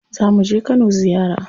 Zamu je Kano ziyara.